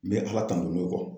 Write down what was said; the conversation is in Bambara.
N bɛ ALA tanto n'o